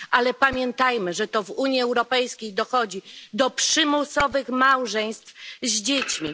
Ale pamiętajmy, że to w Unii Europejskiej dochodzi do przymusowych małżeństw z dziećmi.